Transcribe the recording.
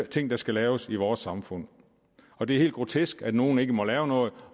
ting der skal laves i vores samfund og det er helt grotesk at nogle ikke må lave noget